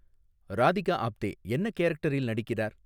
ராதிகா ஆப்தே என்ன கேரக்டரில் நடிக்கிறார்